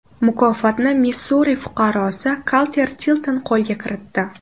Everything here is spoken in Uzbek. Mukofotni Missuri fuqarosi Kalter Tilton qo‘lga kiritdi.